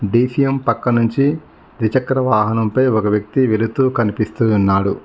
DCM పక్కనుంచి ద్విచక్ర వాహనంపై ఒక వ్యక్తి వెళుతూ కనిపిస్తూ ఉన్నాడు.